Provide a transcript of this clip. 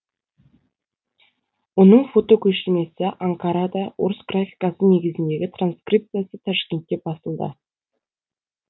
оның фотокөшірмесі анкарада орыс графикасы негізіндегі транскрипциясы ташкентте басылды